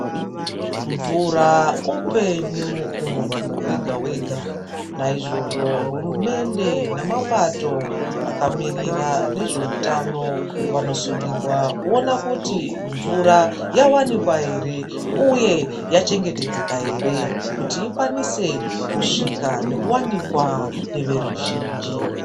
Mvura upenyu kumundu wega wega naizvozvo hurumende nemapato akamirira nezvehutano anosungirwa kuona kuti mvura yawanikwa here uye yachengetedzeka hre kuti ikwanise kusvika nekuwanikwa neveruzhinji.